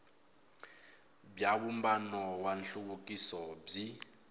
bya vumbano wa nhluvukiso byi